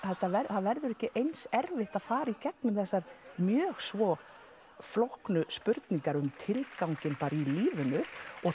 að það verður ekki eins erfitt að fara í gegnum þessar mjög svo flóknu spurningar um tilganginn bara í lífinu